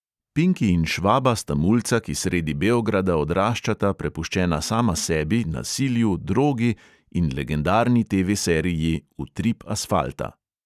Pinki in švaba sta mulca, ki sredi beograda odraščata prepuščena sama sebi, nasilju, drogi in legendarni TV seriji utrip asfalta.